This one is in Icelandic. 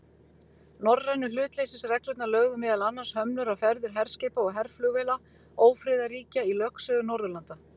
Norrænu hlutleysisreglurnar lögðu meðal annars hömlur á ferðir herskipa og herflugvéla ófriðarríkja í lögsögu Norðurlanda.